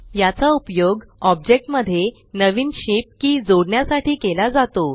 याचा उपयोग ऑब्जेक्ट मध्ये नवीन शेप की जोडण्यासाठी केला जातो